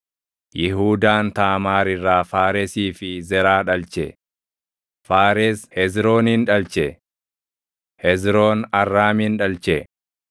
Yihuudaan Taamaar irraa Faaresii fi Zeraa dhalche; Faares Hezroonin dhalche; Hezroon Arraamin dhalche;